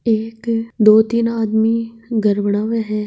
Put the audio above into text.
एक दो तीन आदमी घर बनाव हैं।